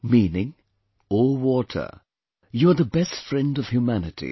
Meaning O water, you are the best friend of humanity